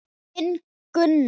Þinn, Gunnar.